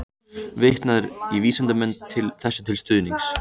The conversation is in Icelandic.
Vitnað er í vísindamenn þessu til stuðnings.